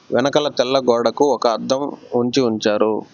వెనకాల తెల్ల గోడకు ఒక అద్దం వంచి ఉంచారు.